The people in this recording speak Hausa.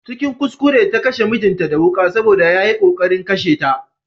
Cikin kuskure ta kashe mijinta da wuƙa Saboda yayi ƙoƙarin kashe ta.